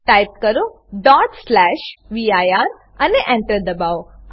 type કરો vir અને Enter દબાવો